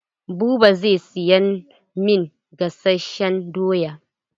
Buba zai siyan min gasashen doya.